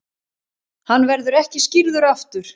Hann verður ekki skírður aftur.